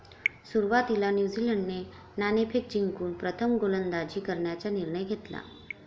सुरुवातीला न्यूझीलंडने नाणेफेक जिंकून प्रथम गोलंदाजी करण्याचा निर्णय घेतला.